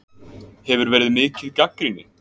Hefur verið mikið gagnrýni?